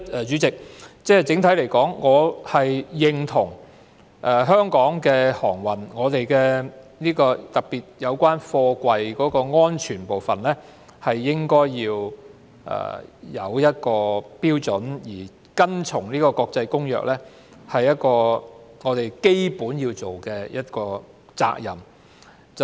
主席，整體而言，我認同香港的航運，特別有關貨櫃安全的部分應該訂有標準，而遵從《公約》更是我們的基本責任。